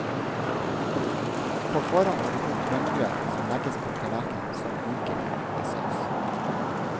På forhånd har du kokt rømmegrøt som legges på tallerkenen som rikelig med saus.